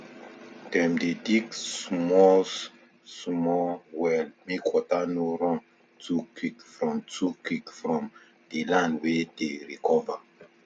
dem dey dig smallsmall well mek water no run too quick from too quick from di land wey dey recover